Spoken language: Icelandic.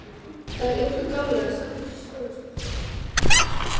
Það er ljótt að dáleiða saklausar skólastúlkur.